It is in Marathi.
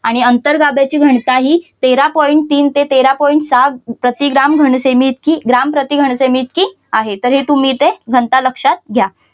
आणि अंतर्गाभ्याची घनता ही तेरा point तीन ते तेरा point सहा प्रति ग्राम घनसेमी इतकी ग्राम प्रति घनसेमी इतकी आहे तर हे तुम्ही इथे घनता लक्षात घ्या.